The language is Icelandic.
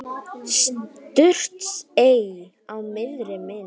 Surtsey á miðri mynd.